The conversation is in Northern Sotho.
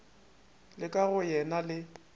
la ka go yena le